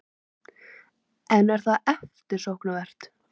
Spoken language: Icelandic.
En er það eftirsóknarvert?